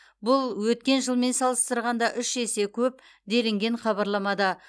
бұл өткен жылмен салыстырғанда үш есе көп делінген хабарламада